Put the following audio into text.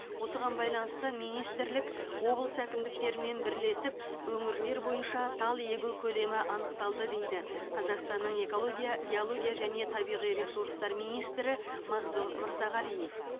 осыған байланысты министрлік облыс әкімдіктерімен бірлесіп өңірлер бойынша тал егу көлемі анықталды дейді қазақстанның экология геология және табиғи ресурстар министрі мағзұм мырзағалиев